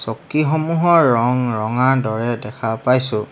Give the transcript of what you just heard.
চকীসমূহৰ ৰং ৰঙাৰ দৰে দেখা পাইছোঁ।